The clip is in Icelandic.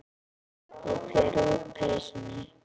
Ég fer úr peysunni.